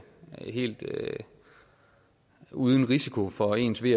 helt uden risiko for ens ve